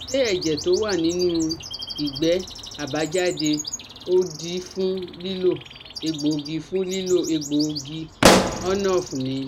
Ṣé ẹ̀jẹ̀ tó wà nínú igbe abajade odi fun lilo egbogi fun lilo egbogi ornof ni?